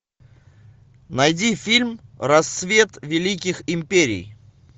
найди фильм рассвет великих империй